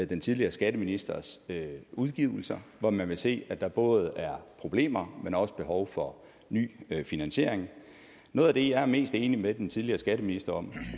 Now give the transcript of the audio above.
den tidligere skatteministers udgivelser hvor man kan se at der både er problemer og behov for ny finansiering noget af det jeg er mest enig med den tidligere skatteminister